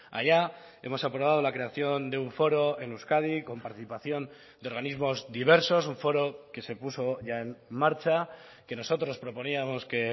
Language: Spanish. allá hemos aprobado la creación de un foro en euskadi con participación de organismos diversos un foro que se puso ya en marcha que nosotros proponíamos que